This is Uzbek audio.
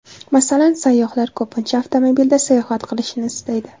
Masalan, sayyohlar ko‘pincha avtomobilda sayohat qilishni istaydi.